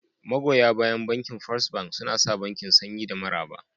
Magoya bayan Bankin First Bank suna sa bankin sanyi da maraba